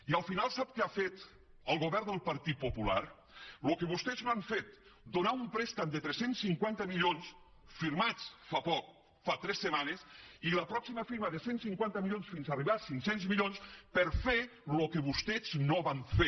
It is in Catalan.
i al final sap què ha fet el govern del partit popular el que vostès no han fet donar un préstec de tres cents i cinquanta milions firmats fa poc fa tres setmanes i la pròxima firma de cent i cinquanta milions fins arribar a cinc cents milions per fer el que vostès no van fer